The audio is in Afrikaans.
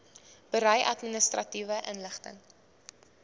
berei administratiewe inligting